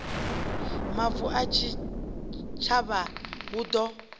mavu a tshitshavha hu ḓo